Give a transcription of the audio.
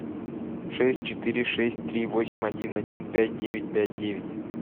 шесть четыре шесть три восемь один один пять девять пять девять